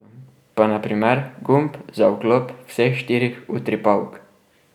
Pa na primer gumb za vklop vseh štirih utripalk.